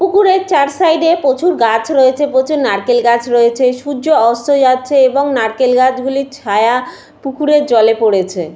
পুকুরের চার সাইড প্রচুর গাছ রয়েছে নারকেল গাছ রয়েছে সূর্য অস্ত যাচ্ছে এবং নারকেল গাছগুলির ছায়া পুকুরের জলে পড়েছে।